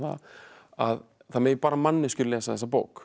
að það megi bara manneskjur lesa þessa bók